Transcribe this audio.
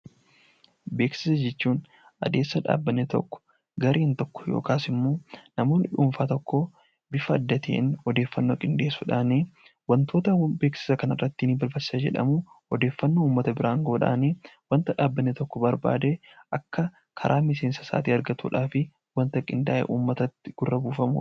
Beeksisa jechuun adeemsa dhaabbatni tokko gareen tokko yookaan namni dhuunfaa tokko bifa adda ta'een odeeffannoo gaggeessuudhaan wantoota beeksisa kana ni ibsa jedhanii yaadan odeeffannoo uummata biraan kan gahan wanta dhaabbatni tokko barbaade Akka karaa miseensa isaa argatuuf wanta qindaa'ee uummata gurra buufamudha.